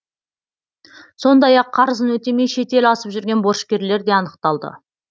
сондай ақ қарызын өтемей шетел асып жүрген борышкерлер де анықталды